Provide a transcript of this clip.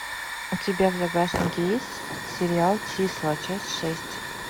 у тебя в загашнике есть сериал числа часть шесть